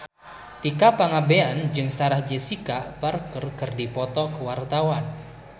Tika Pangabean jeung Sarah Jessica Parker keur dipoto ku wartawan